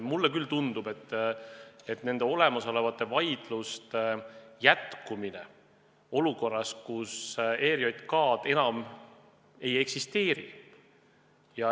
Mulle küll tundub, et käimasolevate vaidluste jätkumine olukorras, kus ERJK-d enam ei eksisteeri, satub ohtu.